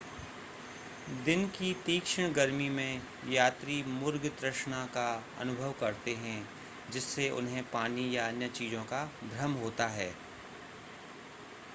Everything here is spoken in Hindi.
दिन की तीक्षण गर्मी में यात्री मुर्ग तृष्णा का अनुभव करते हैं जिससे उन्हें पानी या अन्य चीज़ों का भ्रम होता है